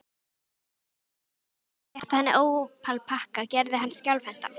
Tilhugsunin ein um að rétta henni ópalpakkann gerði hann skjálfhentan.